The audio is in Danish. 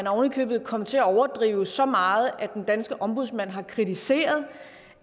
ovenikøbet kommet til at overdrive så meget at den danske ombudsmand har kritiseret